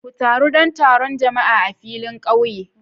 Ku taru don taron jama'a a filin kauye.